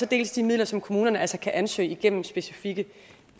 dels de midler som kommunerne altså kan ansøge om igennem specifikke